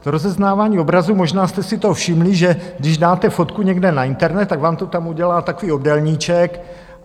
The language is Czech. To rozeznávání obrazu, možná jste si toho všimli, že když dáte fotku někde na internet, tak vám to tam udělá takový obdélníček.